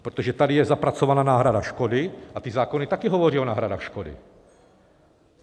Protože tady je zapracovaná náhrada škody a ty zákony taky hovoří o náhradách škody.